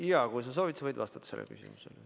Jaa, kui sa soovid, sa võid vastata sellele küsimusele.